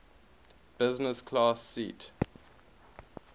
business class seat